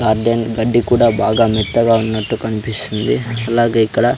Garden గడ్డి కూడా బాగా మెత్తగా ఉన్నట్టు కనిపిస్తుంది అలాగే ఇక్కడ.